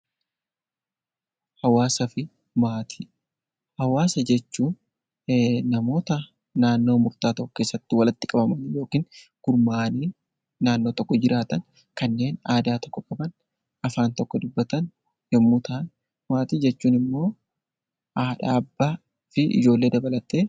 Hawaasa jechuun namoota naannoo murtaa'aa keessatti walitti qabamanii yookiin gurmaa'anii naannoo tokko jiraatan kanneen aadaa tokko qaban afaan tokko qaban yommuu ta'u, maatiin immoo haadha, abbaa fi ijoollee dabalata.